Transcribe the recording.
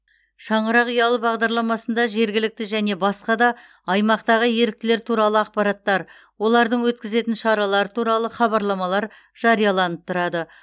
шаңырақ ұялы бағдарламасында жергілікті және басқа да аймақтағы еріктілер туралы ақпараттар олардың өткізетін шаралары туралы хабарламалар жарияланып тұрады